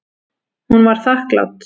Hún var þakklát.